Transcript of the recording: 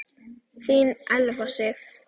Þín Elfa Sif.